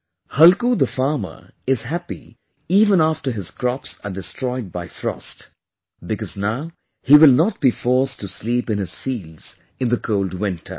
Halku the farmer is happy even after his crops are destroyed by frost, because now he will not be forced to sleep in his fields in the cold winter